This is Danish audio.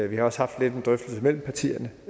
vi har også haft en drøftelse mellem partierne